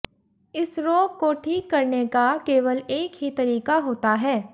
इस रोग को ठीक करने का केवल एक ही तरीका होता है